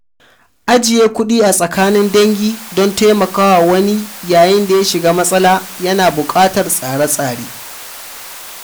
Ajiye kuɗi a tsakanin dangi don taimaka wa wani yayin da ya shiga matsala ya na buƙatar tsare-tsare.